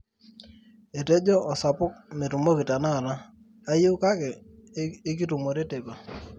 etejo osapuk metumoki tenakata ayeu kake ikitumore teipa